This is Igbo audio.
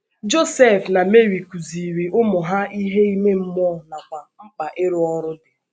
Josef na Meri kụziiri ụmụ ha ihe ime mmụọ nakwa mkpa ịrụ ọrụ dị